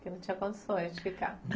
Não tinha condições de ficar.